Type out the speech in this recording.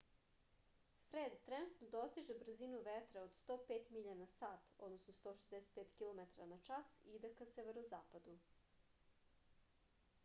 фред тренутно достиже брзину ветра од 105 миља на сат 165 km/h и иде ка северозападу